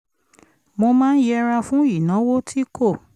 mo máa ń yẹra fún ìnáwó tí kò